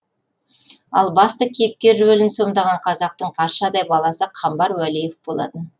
ал басты кейіпкер рөлін сомдаған қазақтың қаршадай баласы қамбар уәлиев болатын